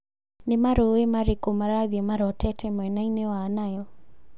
Nĩ marũũĩ marĩkũ marathīi marorete mwena-inĩ wa Nile